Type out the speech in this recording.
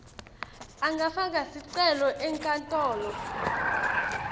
angafaka sicelo enkantolo